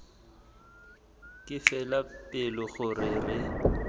ke fela pelo gore re